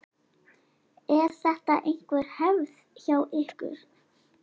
Er þetta einhver hefð hjá ykkur?